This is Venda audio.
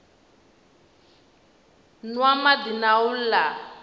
nwa madi na u la